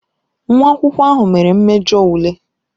Nwa akwụkwọ ahụ mere mmejọ ule